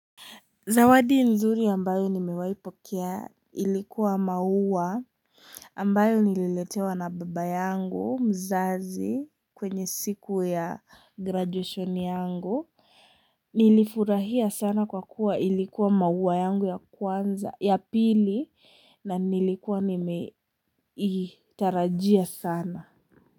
Zawadi nzuri ambayo nimewaipokea ilikuwa maua ambayo nililetewa na baba yangu mzazi kwenye siku ya graduation yangu. Nilifurahia sana kwa kuwa ilikuwa maua yangu ya kwanza, ya pili na nilikuwa nimeitarajia sana.